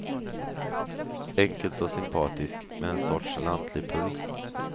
Enkelt och sympatiskt, med en sorts lantlig puls.